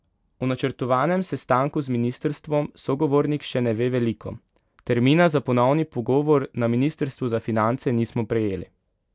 O načrtovanem sestanku z ministrstvom sogovornik še ne ve veliko: "Termina za ponovni pogovor na ministrstvu za finance nismo prejeli.